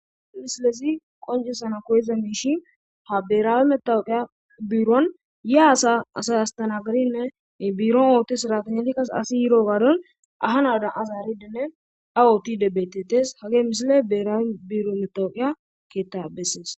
Ha misolezi qoncisana koyiza miishi ha birawe matoqa biron yoya asa asay astanagadinne biron oothiya sirateynati awu oothidi beetetes hagey misiley birawe matoqa biro besses.